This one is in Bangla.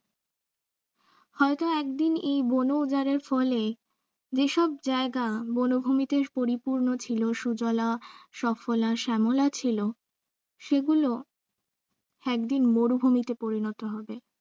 হয়ত একদিন এ বন উজারের ফলে যেসব জায়গা বনভূমিতে পরিপূর্ণ ছিল সুজলা সফলা শ্যামলা ছিল সেগুলো একদিন মরুভূমিতে পরিণত হবে।